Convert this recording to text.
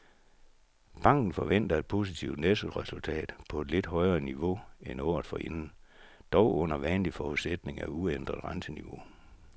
Banken forventer et positivt nettoresultat på et lidt højere niveau end året forinden, dog under vanlig forudsætning af uændret renteniveau.